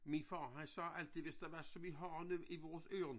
Min far han sagde altid hvis der var som vi har nu i vores øren